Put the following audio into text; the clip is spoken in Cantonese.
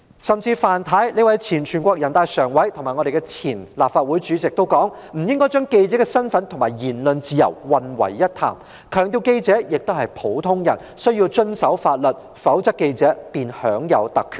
前全國人民代表大會常務委員會委員范太，以及前立法會主席也表示，不應將記者身份與言論自由混為一談，強調記者也是普通人，須遵守法律，否則記者便會享有特權。